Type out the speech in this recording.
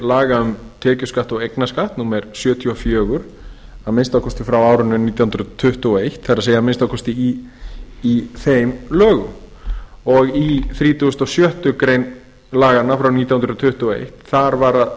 laga um tekjuskatt og eignarskatt númer sjötíu og fjögur að minnsta kosti frá árinu nítján hundruð tuttugu og eitt það er að minnsta kosti í þeim lögum í þrítugasta og sjöttu grein laganna frá nítján hundruð tuttugu og eitt